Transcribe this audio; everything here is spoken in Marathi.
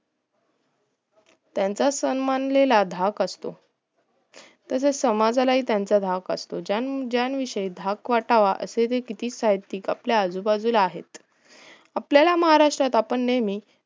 त्याचा सन्मानलेला धाक असतो तसचं समाजाला हि धाक असतो ज्यान ज्यांन धाक वाटावा असावा असेही किती साहित्यिक आपल्या आजू बाजूला आहेत आपल्याला महाराष्ट्रात आपण नेहमी